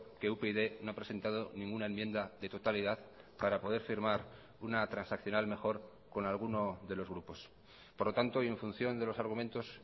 que upyd no ha presentado ninguna enmienda de totalidad para poder firmar una transaccional mejor con alguno de los grupos por lo tanto y en función de los argumentos